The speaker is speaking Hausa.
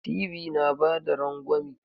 Ty na bada rangwami.